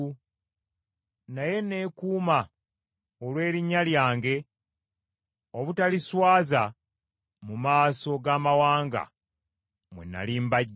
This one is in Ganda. Naye neekuuma olw’erinnya lyange obutaliswaza mu maaso g’amawanga mwe nnali mbaggye.